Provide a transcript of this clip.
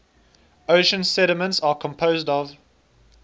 ocean sediments are composed of